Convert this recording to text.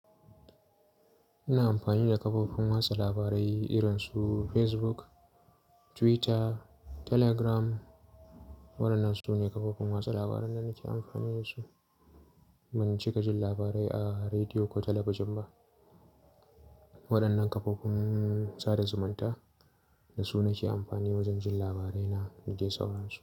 Ina amfani da kafofin watsa labarai irin su Facebook, Twitter, Telegram. Waɗannan su ne kafofin watsa labaran da nake amfani da su. Ban cika jin labarai a rediyo ko talabijin ba. Waɗannan kafofin sada zumunta da su nake amfani wajen jin labarai na dade saurarsu.